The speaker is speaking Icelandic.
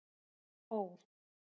Ó